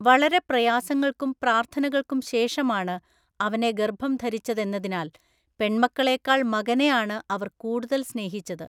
വളരെ പ്രയാസങ്ങൾക്കും പ്രാർത്ഥനക്കും ശേഷമാണ് അവനെ ഗർഭം ധരിച്ചതെന്നതിനാൽ പെൺമക്കളേക്കാൾ മകനെയാണ് അവർ കൂടുതൽ സ്നേഹിച്ചത്.